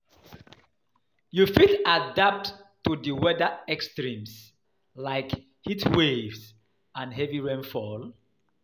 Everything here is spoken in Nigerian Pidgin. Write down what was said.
how you fit adapt to di weather extremes, like heatwaves and heavy rainfall?